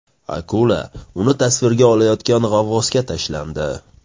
Akula uni tasvirga olayotgan g‘avvosga tashlandi .